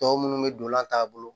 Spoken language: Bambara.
Tɔ minnu bɛ don an t'a bolo